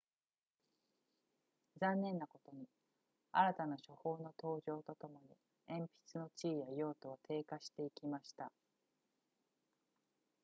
残念なことに新たな書法の登場とともに鉛筆の地位や用途は低下していきました